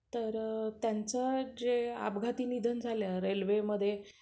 तर त्यांचं जे अपघाती निधन झालं रेल्वेमध्ये